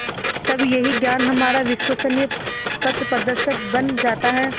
तब यही ज्ञान हमारा विश्वसनीय पथप्रदर्शक बन जाता है